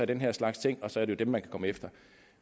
den her slags ting og så er det jo dem man kan komme efter